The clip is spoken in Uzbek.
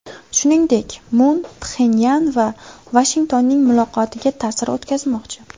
Shuningdek, Mun Pxenyan va Vashingtonning muloqotiga ta’sir o‘tkazmoqchi.